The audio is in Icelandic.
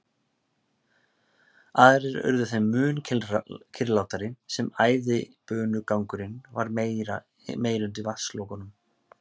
Aðrir urðu þeim mun kyrrlátari sem æðibunugangurinn varð meiri undir vatnslokunum.